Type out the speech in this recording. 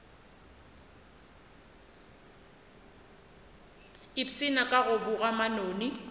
ipshina ka go boga manoni